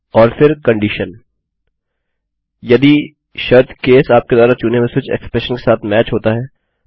और फिर शर्त यदि केस आपके द्वारा चुने हुए स्विच एक्सप्रेशन के साथ मैच होता है